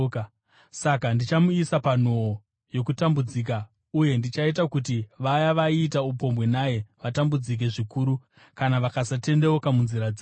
Saka ndichamuisa panhoo yokutambudzika, uye ndichaita kuti vaya vaiita upombwe naye vatambudzike zvikuru, kana vakasatendeuka munzira dzavo.